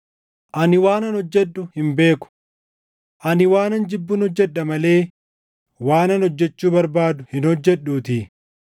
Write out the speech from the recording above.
Ani waanan hojjedhu hin beeku. Ani waanan jibbun hojjedha malee waanan hojjechuu barbaadu hin hojjedhuutii.